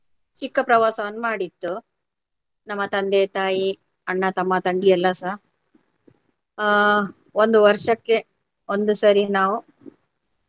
ಚಿಕ್ಕ ಪ್ರವಾಸವನ್ನು ಮಾಡಿದ್ದು. ನಮ್ಮ ತಂದೆ, ತಾಯಿ, ಅಣ್ಣ, ತಮ್ಮ, ತಂಗಿ ಎಲ್ಲಾರ್ ಸಹ. ಅಹ್ ಒಂದು ವರ್ಷಕ್ಕೆ ಒಂದು ಸರಿ ನಾವು.